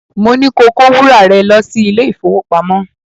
Mo ní ko kó wúrà rẹ lọ́ sí ilé-ìfowópamọ́